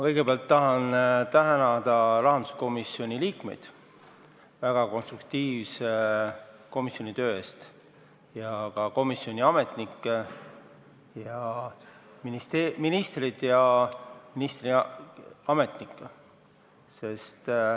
Kõigepealt tahan ma tänada rahanduskomisjoni liikmeid väga konstruktiivse töö eest, samuti komisjoni ametnikke, ministrit ja ministeeriumi ametnikke.